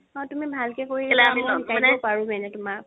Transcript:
অ' তুমি ভালকে শিকিবা মইও শিকাই দিব পাৰো মানে তুমাক